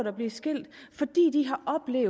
er blevet skilt